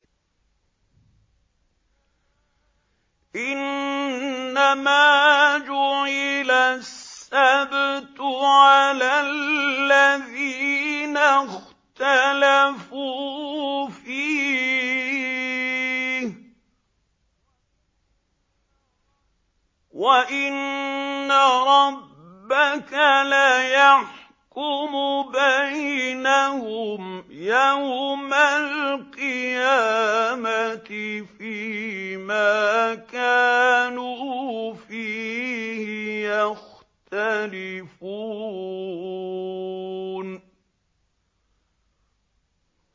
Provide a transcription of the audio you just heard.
إِنَّمَا جُعِلَ السَّبْتُ عَلَى الَّذِينَ اخْتَلَفُوا فِيهِ ۚ وَإِنَّ رَبَّكَ لَيَحْكُمُ بَيْنَهُمْ يَوْمَ الْقِيَامَةِ فِيمَا كَانُوا فِيهِ يَخْتَلِفُونَ